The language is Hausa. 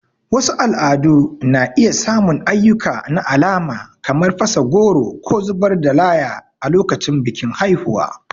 Wasu al'adu na iya samun ayyuka na alama kamar fasa goro ko zubar da laya a lokacin bikin haihuwa.